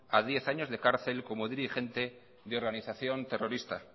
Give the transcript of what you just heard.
a diez años de cárcel como dirigente de organización terrorista